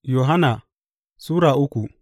Yohanna Sura uku